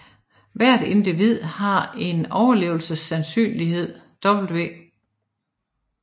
Hvert individ har en overlevelsessandsynlighed W